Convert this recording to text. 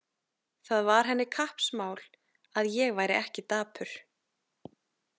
Það var henni kappsmál að ég væri ekki dapur.